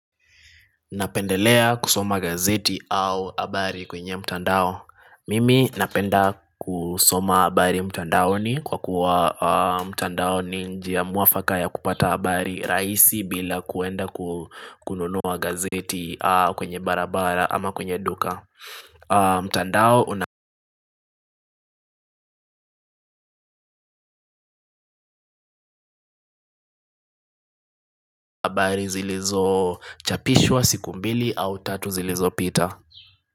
Napendelea kusoma gazeti au habari kwenye mtandao. Mimi napenda kusoma habari mtandaoni kwa kuwa mtandao ni njia mwafaka ya kupata habari rahisi bila kuenda kununua gazeti kwenye barabara ama kwenye duka. Mtandao habari zilizo chapishwa siku mbili au tatu zilizo pita.